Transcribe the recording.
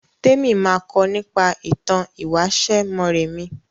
Témi ma kọ nípa ìtàn ìwáṣẹ̀ Mọ́rẹmí